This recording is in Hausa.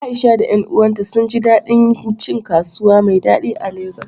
Aisha da ƴan uwanta sun ji daɗin cin kasuwa mai daɗi a Legas.